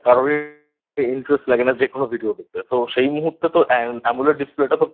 কারোরই Interest লাগে না যে কোনো Video দেখতে তো সেই মুহূর্তে তো Amoled Display